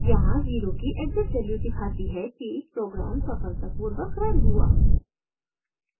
यहाँ 0 की exit value दिखाती है कि प्रोग्राम सफलतापूर्वक रन हुआ